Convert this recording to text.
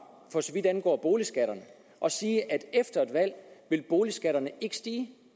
for så vidt angår boligskatterne og sige at efter et valg vil boligskatterne ikke stige